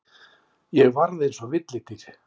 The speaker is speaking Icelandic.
Ég varð eins og villidýr.